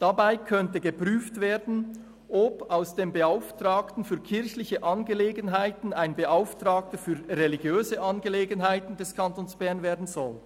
Dabei könnte geprüft werden, ob aus dem Beauftragten für Angelegenheiten ein Beauftragter für Angelegenheiten des Kantons Bern werden soll.